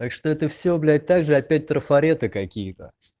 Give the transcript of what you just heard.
так что это всё блять также опять трафареты какие-то